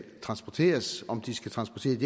transporteres om de skal transporteres